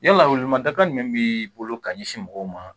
Yala wele ma dakari min bi bolo ka ɲɛsin mɔgɔw ma